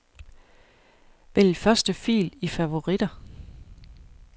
Vælg første fil i favoritter.